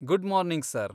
Good morning sir.